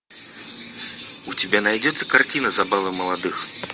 у тебя найдется картина забавы молодых